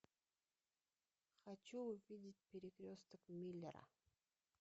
хочу увидеть перекресток миллера